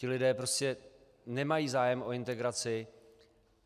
Ti lidé prostě nemají zájem o integraci.